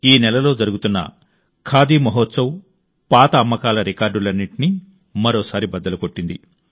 ఈ నెలలో జరుగుతున్న ఖాదీ మహోత్సవ్ పాత అమ్మకాల రికార్డులన్నింటినీ మరోసారి బద్దలు కొట్టింది